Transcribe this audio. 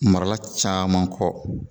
Marala caman kɔ